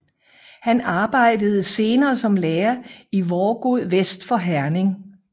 Han arbejdede senere som lærer i Vorgod vest for Herning